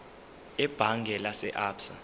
ebhange lase absa